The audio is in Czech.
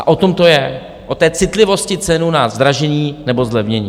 A o tom to je, o té citlivosti cenu na zdražení nebo zlevnění.